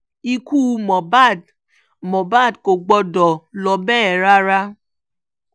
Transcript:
ikú mohbad mohbad kò gbọ́dọ̀ lọ bẹ́ẹ̀ yẹn rárá